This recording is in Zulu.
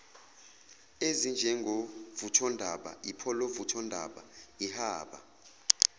ezinjengovuthondaba ipholavuthondaba ihaba